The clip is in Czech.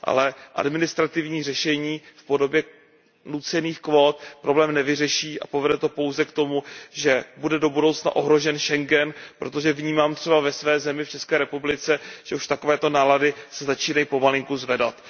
Ale administrativní řešení v podobě nucených kvót problém nevyřeší a povede to pouze k tomu, že bude do budoucna ohrožen schengenský prostor, protože vnímám třeba už ve své zemi, v České republice, že už takovéto nálady se začínají pomalinku zvedat.